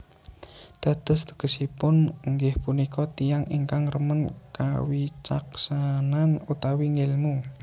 Dados tegesipun inggih punika tiyang ingkang remen kawicaksanan utawi ngèlmu